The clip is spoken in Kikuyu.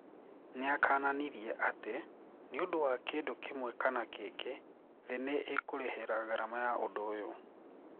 Niakananirie ati: " Niũndũ wa kindũ kimwe kana kĩngĩ, thii niikũrihira garama ya ũndũ ũyũ